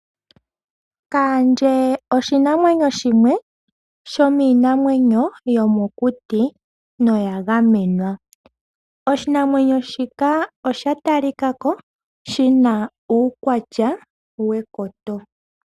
Kaandje oshinamwenyo shimwe shomiinamwenyo yomokuti, no ya gamenwa. Oshinamwenyo shika osha yalikako shina iinamwenyo yekoto.